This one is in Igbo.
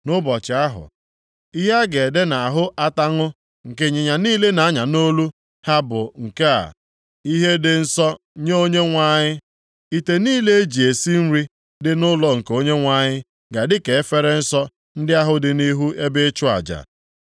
Nʼụbọchị ahụ, ihe a ga-ede nʼahụ ataṅụ nke ịnyịnya niile na-anya nʼolu ha bụ nke a: “Ihe dị Nsọ nye Onyenwe anyị.” Ite niile e ji esi nri dị nʼụlọ nke Onyenwe anyị ga-adị ka efere nsọ ndị ahụ dị nʼihu ebe ịchụ aja.